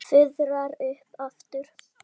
Fuðrar upp aftur.